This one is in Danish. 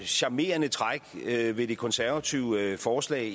charmerende træk ved de konservatives forslag